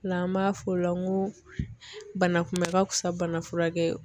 Ola an b'a fɔ o la n ko bana kunbɛ ka fisa bana furakɛ ye